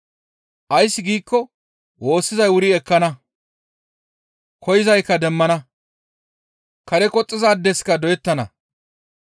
Ays giikko woossizay wuri ekkana; koyzaykka demmana; kare qoxxizaadeska doyettana.